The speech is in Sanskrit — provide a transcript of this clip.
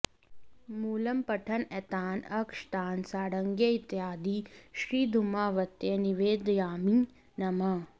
मूलम्पठन् एतान् अक्षतान् साङ्गायै इत्यादि श्रीधूमावत्यै निवेदयामि नमः